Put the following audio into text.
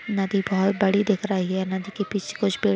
नदी बहोत (बहुत) बड़ी दिख रही है। नदी के पीछे कुछ पेड़ --